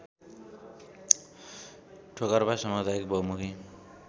ठोकर्पा सामुदायिक बहुमुखी